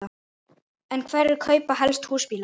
En hverjir kaupa helst húsbíla?